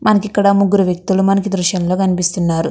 మనకు ఇక్కడ ముగురు వక్తులు మనకి దృశ్యం లోకనిపిస్తున్నారు.